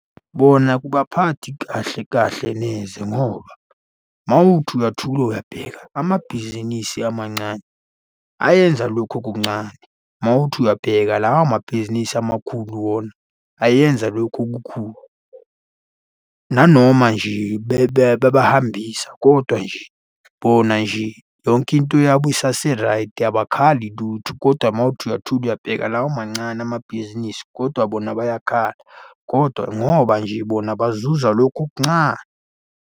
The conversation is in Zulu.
Bona akubaphathi kahle kahle neze ngoba uma uthi uyathula uyabheka, amabhizinisi amancane ayenza lokhu okuncane. Uma uthi uyabheka lawa mabhizinisi amakhulu wona ayenza lokhu okukhulu. Nanoma nje bebahambisa, kodwa nje bona nje yonke into yabo isaseraydi abakhali lutho, kodwa uma uthi uyathula uyabheka lawo mancane amabhizinisi kodwa bona bayakhala kodwa ngoba nje bona bazuza lokhu okuncane.